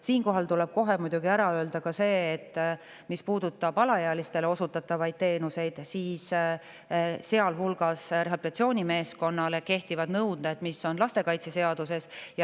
Siinkohal tuleb muidugi kohe ära öelda, et mis puudutab alaealistele osutatavaid teenuseid, siis seal kehtivad rehabilitatsioonimeeskonnale nõuded, mis on lastekaitseseaduses.